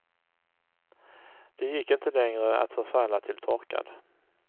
Det gick inte längre att förfalla till torkad.